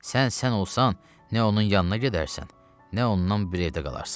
Sən sən olsan, nə onun yanına gedərsən, nə ondan bir evdə qalarsan.